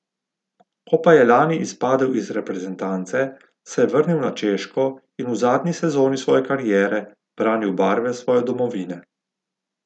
Ko pa je lani izpadel iz reprezentance, se je vrnil na Češko in v zadnji sezoni svoje kariere branil barve svoje domovine.